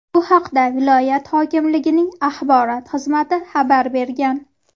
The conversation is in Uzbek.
Bu haqda viloyat hokimligining axborot xizmati xabar bergan .